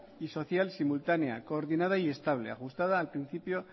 y social simultanea coordinada y estable ajustada al principio